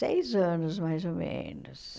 Seis anos, mais ou menos.